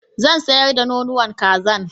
Zan sayar da nonuwan kazan